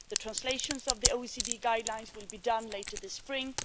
The translations of the OECD guidelines will be done later this spring.